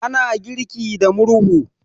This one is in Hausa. ana girki da murhu